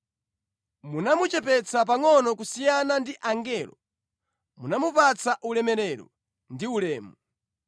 Munamuchepetsa pangʼono kusiyana ndi angelo; munamupatsa ulemerero ndi ulemu.